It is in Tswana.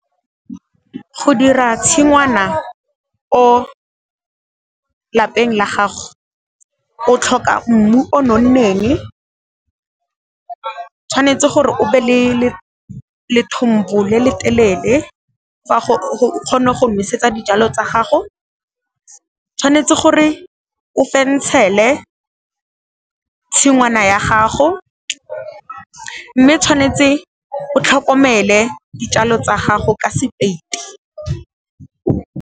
Go dira tshingwana ko lapeng la gago o tlhoka mmu o nonneng, tshwanetse gore o be le lethombo le le telele gore o kgone go nosetsa dijalo tsa gago, tshwanetse gore o fentshele tshingwana ya gago, mme tshwanetse o tlhokomele dijalo tsa gago ka sepeiti.